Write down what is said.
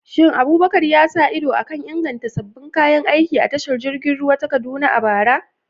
Shin Abubakar ya sa ido a kan inganta sabbin kayan aiki a tashar jirgin ruwa ta Kaduna a bara?